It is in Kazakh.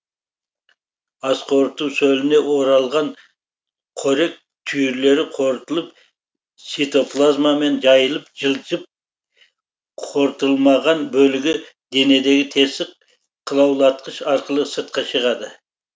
асқорыту сөліне оралған қорек түйірлері қорытылып цитоплазмамен жайылып жылжып қорытылмаған бөлігі денедегі тесік қылаулатқыш арқылы сыртқа шығады